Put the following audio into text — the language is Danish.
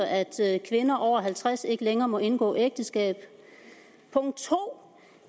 at kvinder over halvtreds ikke længere må indgå ægteskab og punkt 2